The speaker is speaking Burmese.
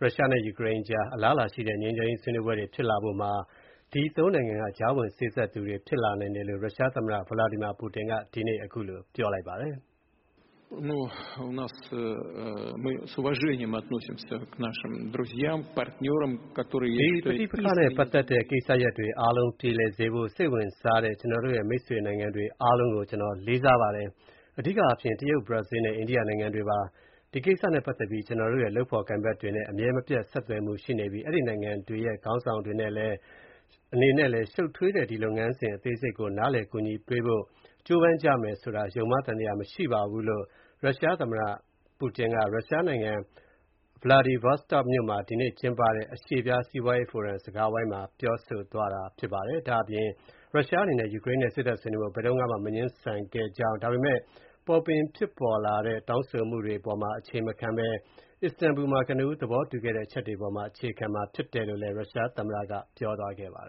ရုရှားနဲ့ ယူကရိန်းကြား အလားအလာရှိတဲ့ ငြိမ်းချမ်းရေး ဆွေးနွေးပွဲဖြစ်လာဖို့မှာ တရုတ်၊ အိန္ဒိယနဲ့ ဘရာဇီးနိုင်ငံတွေက ကြားဝင်စေ့စပ်သူတွေ ဖြစ်လာနိုင်တယ်လို့ ရုရှားသမ္မတ ဗလာဒီမီယာပူတင်က ဒီနေ့ ပြောလိုက်ပါတယ်။ “ဒီပဋိပက္ခနဲ့ ပတ်သက်တဲ့ ကိစ္စရပ်တွေ အားလုံးကို ပြေလည်စေဖို့ စိတ်ဝင်စားတဲ့ ကျနော်တို့ရဲ့ မိတ်ဆွေနိုင်ငံတွေ အားလုံးကို ကျနော် လေးစားပါတယ်။ အဓိကအားဖြင့် တရုတ် ၊ ဘရာဇီး နဲ့ အိန္ဒိယနိုင်ငံတွေပါ။ ဒီကိစ္စနဲ့ ပတ်သက်ပြီး ကျနော်တို့ရဲ့ လုပ်ဖော်ကိုင်ဖက်တွေ နဲ့ အမြဲမပြတ် ဆက်သွယ်မှုရှိပြီး အဲဒီနိုင်ငံတွေရဲ့ ခေါင်းဆောင်တွေ အနေနဲ့လည်း ရှုပ်ထွေးတဲ့ ဒီလုပ်ငန်းစဉ် အသေးစိတ်ကို နားလည် ကူညီပေးနိုင်ဖို့ ကြိုးပမ်းကြမယ်ဆိုတာ ယုံမှားသံသယ မရှိပါဘူးလို့” − ရုရှားသမ္မတ ပူတင်က ရုရှားနိုင်ငံ Vladivostok မြို့မှာ ဒီကနေ့ ကျင်းပတဲ့ အရှေ့ဖျား စီးပွားရေးဖိုရမ် စကားဝိုင်းမှာ ပြောကြားသွားတာ ဖြစ်ပါတယ်။ ဒါ့အပြင် ရုရှားအနေနဲ့ ယူကရိန်းနဲ့ စေ့စပ်ဆွေးနွေးဖို့ ဘယ်တုန်းကမှ မငြင်းဆန်ခဲ့ကြောင်း ဒါပေမဲ့ ပေါ်ပင်ဖြစ်ပေါ်လာတဲ့ တောင်းဆိုမှုတွေ ပေါ်မှာ အခြေမခံဘဲ၊ အစ္စတန်ဘူလ်မှာ ကနဦး သဘောတူခဲ့တဲ့ အချက်တွေပေါ်မှာ အခြေခံရမှာ ဖြစ်တယ်လို့လည်း ရုရှားသမ္မတ ပူတင်က ပြောသွားပါတ